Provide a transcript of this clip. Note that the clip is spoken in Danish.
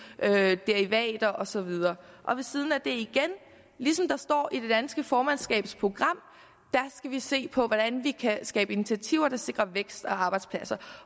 af derivater og så videre ved siden af det igen ligesom der står i det danske formandskabs program skal vi se på hvordan vi kan skabe initiativer der sikrer vækst og arbejdspladser